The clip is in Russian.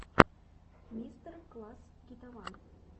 мастер класс гитаван